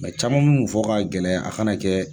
caman fɔ ka gɛlɛya a kana kɛ